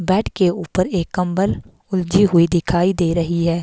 Bed के ऊपर एक कंबल उलझी हुई दिखाई दे रही है।